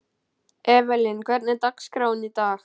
Evelyn, hvernig er dagskráin í dag?